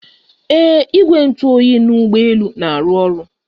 Ee igwe ntụ oyi na ụgbọ elu na-arụ ọrụ